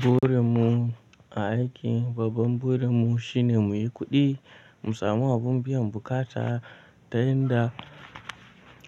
Burin mu a aiki, babban burin mu shine muyi kuɗi, mu samu abin biyan buƙata ta yanda